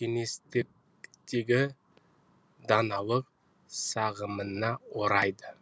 кеңістіктегі даналық сағымына орайды